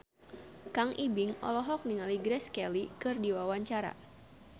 Kang Ibing olohok ningali Grace Kelly keur diwawancara